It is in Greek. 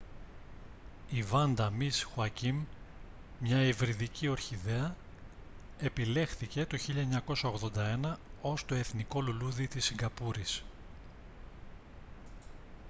η vanda miss joaquim μια υβριδική ορχιδέα επιλέχθηκε το 1981 ως το εθνικό λουλούδι της σιγκαπούρης